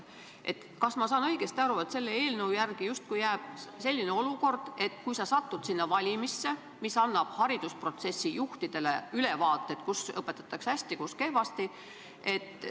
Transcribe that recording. Kas ma saan õigesti aru, et selle eelnõu kohaselt justkui jääb selline olukord, et kui õpilane satub teatud valimisse, siis see annab haridusprotsessi juhtidele ülevaate, kus õpetatakse hästi ja kus kehvasti?